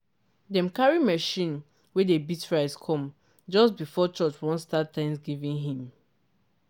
dem carry machine wey dey beat rice come just before church wan start thanksgiving hymn